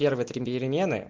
один